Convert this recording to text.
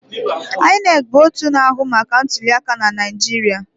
INEC bụ otu na-ahụ maka ntuliaka na Naijiria.